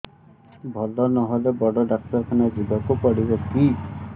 ଭଲ ନହେଲେ ବଡ ଡାକ୍ତର ଖାନା ଯିବା କୁ ପଡିବକି